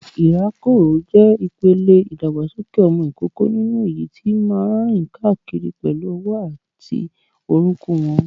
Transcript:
Ìrákòrò jẹ́ ìpele ìdàgbàsókè ọmọ ìkókó nínú èyí tí máa ń rìn káàkiri pẹ̀lú ọwọ́ àti orúnkún wọn.